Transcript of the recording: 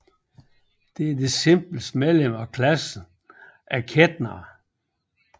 Det er det simpleste medlem af klassen af ketener